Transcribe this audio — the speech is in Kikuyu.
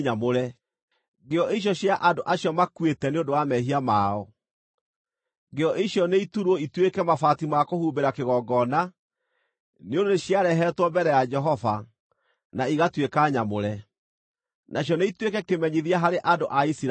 ngĩo icio cia andũ acio makuĩte nĩ ũndũ wa mehia mao. Ngĩo icio nĩiturwo ituĩke mabati ma kũhumbĩra kĩgongona, nĩ ũndũ nĩciarehetwo mbere ya Jehova, na igatuĩka nyamũre. Nacio nĩ ituĩke kĩmenyithia harĩ andũ a Isiraeli.”